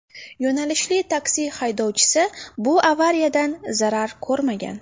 Yo‘nalishli taksi haydovchisi bu avariyadan zarar ko‘rmagan.